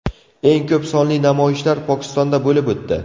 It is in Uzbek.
Eng ko‘p sonli namoyishlar Pokistonda bo‘lib o‘tdi.